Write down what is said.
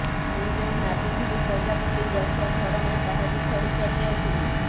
ମୁଁ ଯେଉଁ ନାଚୁଥିଲି ପ୍ରଜାପତି ଗଛ ଝରଣା ତାହା ବି ଛାଡ଼ି ଚାଲି ଆସିଲି